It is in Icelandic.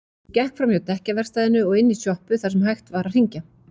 Hún gekk framhjá dekkjaverkstæðinu og inn í sjoppu þar sem hægt var að hringja.